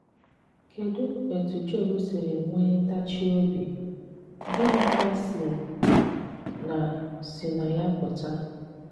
Kedụ etú Job siri nwe tachie obi, gịnịkwa si na si na ya pụta?